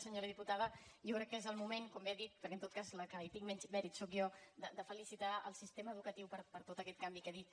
senyora diputada jo crec que és el moment com bé ha dit perquè en tot cas la que hi tinc menys mèrits sóc jo de felicitar el sistema educatiu per tot aquest canvi que ha dit